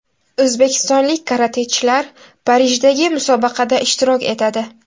O‘zbekistonlik karatechilar Parijdagi musobaqada ishtirok etadi.